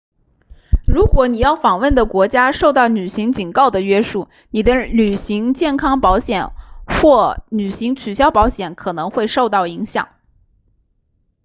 如果你要访问的国家受到旅行警告的约束你的旅行健康保险或旅行取消保险可能会受到影响